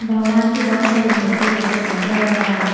भगवान की बहो सारी मूर्ति जैसे शंकर भगवान जी--